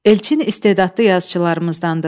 Elçin istedadlı yazıçılarımızdandır.